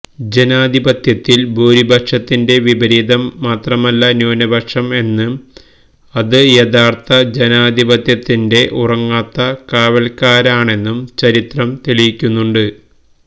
ജനാധിപത്യത്തില് ഭൂരിപക്ഷത്തിന്റെ വിപരീതം മാത്രമല്ല ന്യൂനപക്ഷം എന്നും അത് യഥാര്ത്ഥ ജനാധിപത്യത്തിന്റെ ഉറങ്ങാത്ത കാവല്ക്കാരാണെന്നും ചരിത്രം തെളിയിക്കുന്നുണ്ട്